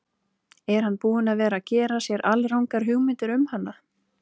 Er hann búinn að vera að gera sér alrangar hugmyndir um hana?